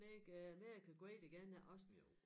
Make America Great Again også